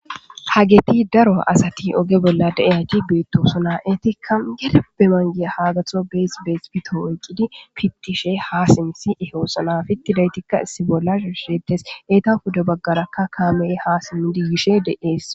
Hageti daro asati oge bolla de7iyayti beettoosona.etikka gedeppe manggidi haa gatho bees bees pito oykkidiba oykkidi haa pittishe yeettes.pittidaytikka issi bolla shiishsheetes.eta pude baggarakka kaamey haa simmidi yishe dees.